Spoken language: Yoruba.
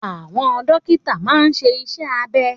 Àwọn dókítà máa n ṣe iṣẹ́ abẹ